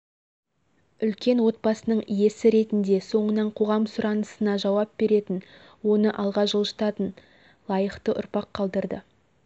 үлкен отбасының иесі ретінде соңынан қоғам сұранысына жауап беретін оны алға жылжытатын лайықты ұрпақ қалдырды